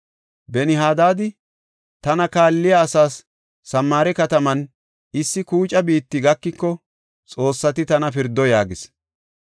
Ben-Hadaadi, “Tana kaalliya asaas Samaare kataman issi kuuca biitti gakiko xoossati tana pirdo” yaagis.